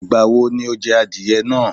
Ìgbà wo ni o je adìye náa?